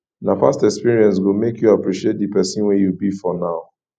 na past experience go make you appreciate di pesin wey you be for now